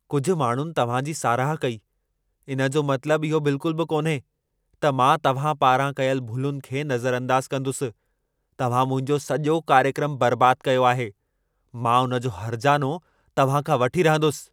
कुझु माण्हुनि तव्हां जी साराह कई, इन जो मतलब इहो बिल्कुल बि कान्हे त मां तव्हां पारां कयल भुलुनि खे नज़रअंदाज़ कंदुसि। तव्हां मुंहिंजो सॼो कार्यक्रम बर्बाद कयो आहे। मां उन जो हर्जानो तव्हां खां वठी रहंदुसि।